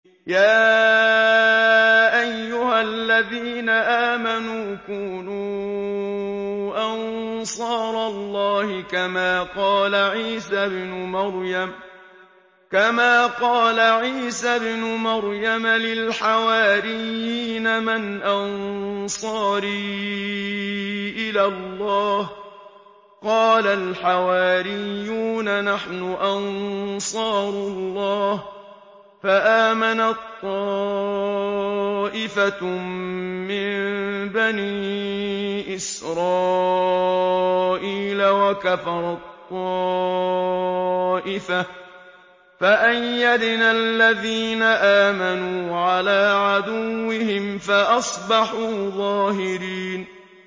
يَا أَيُّهَا الَّذِينَ آمَنُوا كُونُوا أَنصَارَ اللَّهِ كَمَا قَالَ عِيسَى ابْنُ مَرْيَمَ لِلْحَوَارِيِّينَ مَنْ أَنصَارِي إِلَى اللَّهِ ۖ قَالَ الْحَوَارِيُّونَ نَحْنُ أَنصَارُ اللَّهِ ۖ فَآمَنَت طَّائِفَةٌ مِّن بَنِي إِسْرَائِيلَ وَكَفَرَت طَّائِفَةٌ ۖ فَأَيَّدْنَا الَّذِينَ آمَنُوا عَلَىٰ عَدُوِّهِمْ فَأَصْبَحُوا ظَاهِرِينَ